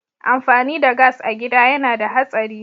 Amfani da gas a gida yana da hatsari.